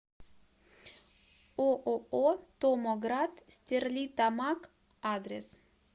ооо томоград стерлитамак адрес